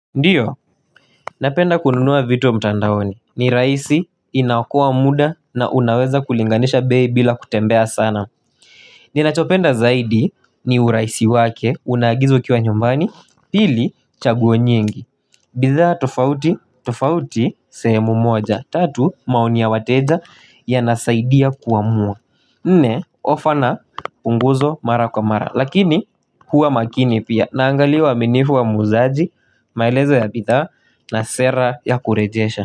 Ndiyo, napenda kununua vitu mtandaoni, ni rahisi inaokoa muda na unaweza kulinganisha bei bila kutembea sana. Ninachopenda zaidi ni urahisi wake, unaagiza ukiwa nyumbani pili chaguo nyingi. Bidhaa tofauti, tofauti, sehemu moja, tatu, maoni ya wateja yanasaidia kuamua. Nne ofa na punguzo mara kwa mara lakini huwa makini pia naangalia uaminifu wa muuzaji maelezo ya bidhaa na sera ya kurejesha.